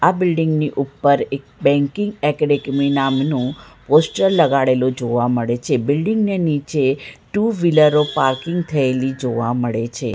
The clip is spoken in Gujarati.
બિલ્ડીંગ ની ઉપર એક બેન્કિંગ એકેડમી નામનું પોસ્ટર લગાડેલું જોવા મળે છે બિલ્ડીંગ ને નીચે ટુ વ્હીલરો પાર્કિંગ થયેલી જોવા મળે છે.